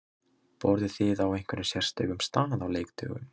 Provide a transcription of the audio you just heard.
Borðið þið á einhverjum sérstökum stað á leikdögum?